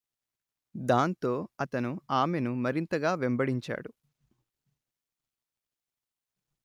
దాంతో అతను ఆమెను మరింతగా వెంబడించాడు